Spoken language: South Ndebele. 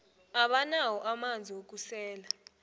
abanawo amanzi wokusela